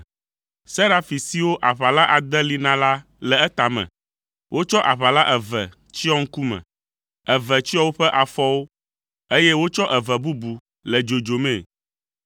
Serafi siwo aʋala ade li na la le etame. Wotsɔ aʋala eve tsyɔ ŋkume, eve tsyɔ woƒe afɔwo, eye wotsɔ eve bubu le dzodzomii.